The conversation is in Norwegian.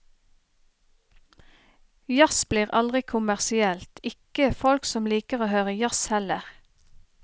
Jazz blir aldri kommersielt, ikke folk som liker å høre jazz heller.